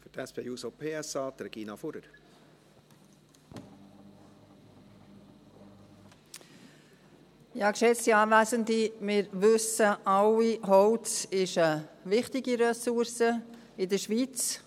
Wir wissen alle, dass Holz in der Schweiz und gerade auch bei uns im Kanton Bern eine wichtige Ressource ist.